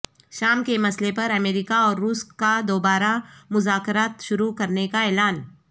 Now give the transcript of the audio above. شام کے مسئلے پر امریکہ اور روس کا دوبارہ مذاکرات شروع کرنے کا اعلان